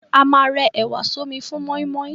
A ma rẹ ẹ̀wà sọ́mi fún mọ́ímọ́í.